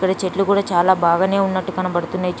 ఇక్కడ చెట్లు కూడా చాలా బాగానే ఉన్నట్టు కనబడుతున్నాయి.